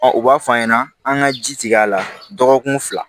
u b'a f'a ɲɛna an ŋa ji tigɛ a la dɔgɔkun fila